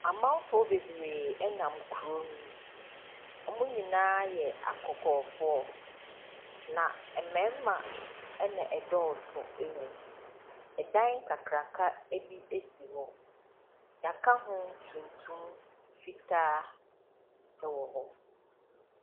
Amamfo bebree nam ne mu, wn nyinaa yɛ akɔkɔɔfoɔ. Na mmarima na ɛdɔɔ so wɔ mu. Dan kakraka bi si hɔ, yɛaka ho tuntum, fitaa wɔ hɔ.